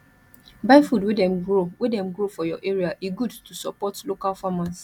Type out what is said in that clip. buy food wey dem grow wey dem grow for your area e good to support local farmers